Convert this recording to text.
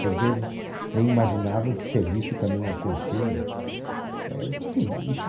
Por vezes nem imaginavam que serviço também é consumo.